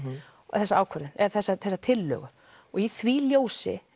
þessa ákvörðun eða þessa tillögu og í því ljósi